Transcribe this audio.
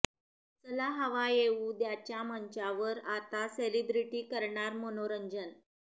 चला हवा येऊ द्याच्या मंचावर आता सेलिब्रिटी करणार मनोरंजन